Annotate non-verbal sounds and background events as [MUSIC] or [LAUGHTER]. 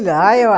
lá [UNINTELLIGIBLE]